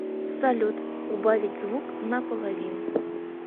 салют убавить звук на половину